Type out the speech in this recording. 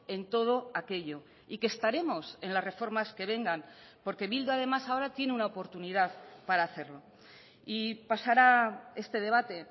en todo aquello y que estaremos en las reformas que vengan porque bildu además ahora tiene una oportunidad para hacerlo y pasará este debate